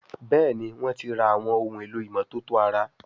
Béèni wón tí rà Àwọn ohun èlò ìmọ́tótó ara.